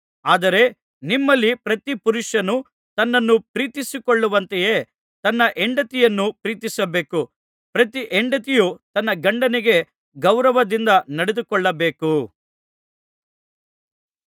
ಆದರೆ ನಿಮ್ಮಲ್ಲಿ ಪ್ರತಿ ಪುರುಷನು ತನ್ನನ್ನು ಪ್ರೀತಿಸಿಕೊಳ್ಳುವಂತೆಯೇ ತನ್ನ ಹೆಂಡತಿಯನ್ನೂ ಪ್ರೀತಿಸಬೇಕು ಪ್ರತಿ ಹೆಂಡತಿಯೂ ತನ್ನ ಗಂಡನಿಗೆ ಗೌರವದಿಂದ ನಡೆದುಕೊಳ್ಳಬೇಕು